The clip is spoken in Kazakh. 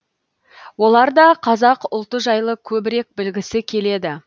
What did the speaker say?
олар да қазақ ұлты жайлы көбірек білгісі келеді